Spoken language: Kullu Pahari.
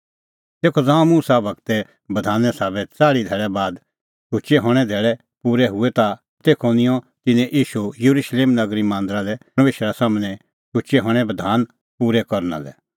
तेखअ ज़ांऊं मुसा गूरे बधाने साबै च़ाल़्ही धैल़ै बाद शुचै हणें धैल़ै पूरै हुऐ ता तेखअ निंयं तिन्नैं ईशू येरुशलेम नगरी मांदरा लै परमेशरा सम्हनै शुचै हणें बधान पूरै करना लै